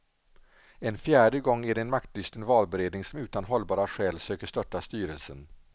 En fjärde gång är det en maktlysten valberedning som utan hållbara skäl söker störta styrelsen.